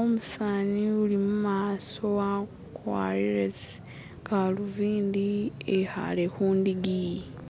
umusaani ulimumaaso wakwarire tsigalubindi wekhali khundigi